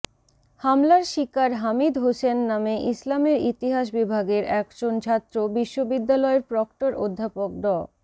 হামলার শিকার হামিদ হোসেন নামে ইসলামের ইতিহাস বিভাগের একজন ছাত্র বিশ্ববিদ্যালয়ের প্রক্টর অধ্যাপক ড